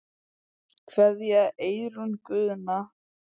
Kveðja, Eyrún Guðna.